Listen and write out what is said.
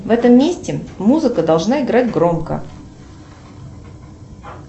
в этом месте музыка должна играть громко